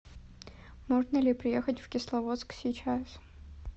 можно ли приехать в кисловодск сейчас